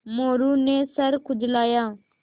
मोरू ने सर खुजलाया